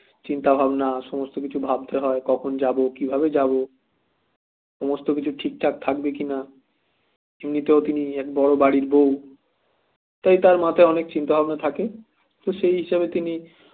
চিন্তাভাবনা সমস্ত কিছু ভাববে হয় কখন যাব কিভাবে যাব সমস্ত কিছু ঠিকঠাক থাকবে কিনা এমনিতেও তিনি এক বড় বাড়ির বউ তাই তার মাথায় অনেক চিন্তাভাবনা থাকে তো সে হিসেবে তিনি